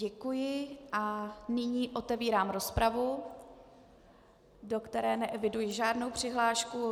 Děkuji a nyní otevírám rozpravu, do které neeviduji žádnou přihlášku.